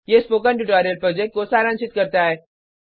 यह प्रोजेक्ट को सारांशित करता है